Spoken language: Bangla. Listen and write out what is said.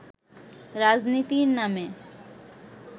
রাজনীতির নামে